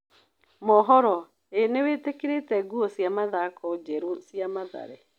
(Mohoro) Ī nĩwĩtĩkĩrĩte nguo cia mathako njerũ cia Mathare?